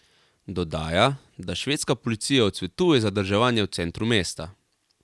Dodaja, da švedska policija odsvetuje zadrževanje v centru mesta.